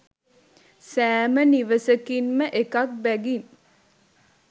සෑම නිවසකින්ම එකක් බැගින්